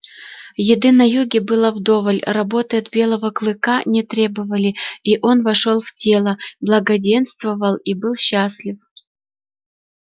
еды на юге было вдоволь работы от белого клыка не требовали и он вошёл в тело благоденствовал и был счастлив